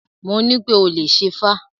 Mo nípé o ò lè ṣẹ́fá!